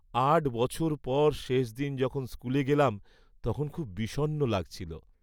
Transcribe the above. আট বছর পর শেষ দিন যখন স্কুলে গেলাম তখন খুব বিষণ্ণ লাগছিল।